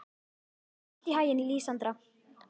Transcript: Gangi þér allt í haginn, Lísandra.